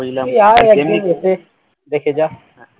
তুই আয় একদিন দেখে দেখে যা